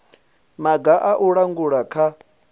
maga a u langula kha